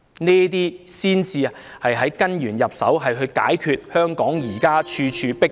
這才是從根源入手，解決香港現時處處"迫爆"的情況。